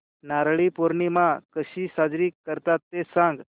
नारळी पौर्णिमा कशी साजरी करतात ते सांग